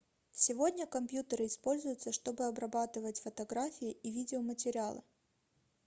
сегодня компьютеры используются чтобы обрабатывать фотографии и видеоматериалы